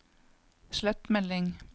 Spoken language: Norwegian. slett melding